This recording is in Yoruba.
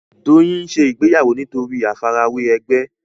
Doyin ń ṣe ìgbéyàwó nítorí àfi ara wẹ ègbé